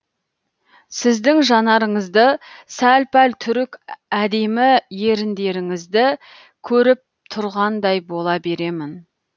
сіздің жанарыңызды сәл пәл түрік әдемі еріндеріңізді көріп тұрғандай бола беремін